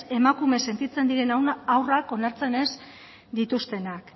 emakume sentitzen diren haurrak onartzen ez dituztenak